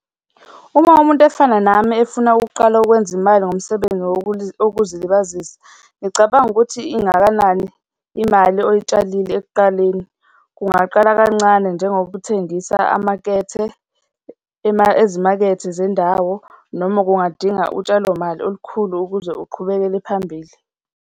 Uma umuntu efana nami efuna ukuqala ukwenza imali ngomsebenzi wokuzilibazisa, ngicabanga ukuthi ingakanani imali oyitshalile ekuqaleni. Kungaqala kancane njengokuthengisa amakethe, ezimakethe zendawo noma kungadinga utshalo mali olukhulu ukuze uqhubekele phambili.